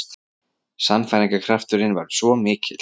Sannfæringarkrafturinn var svo mikill.